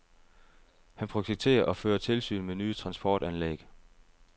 Han projekterer og fører tilsyn med nye transportanlæg.